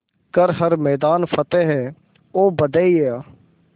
कर हर मैदान फ़तेह ओ बंदेया